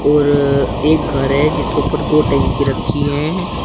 और एक घर है जिसके ऊपर दो टंकी रखी है।